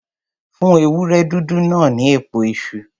Fún ewúré dúdú náà ní èpo iṣu.